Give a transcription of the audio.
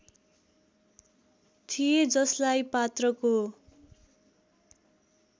थिए जसलाई पात्रको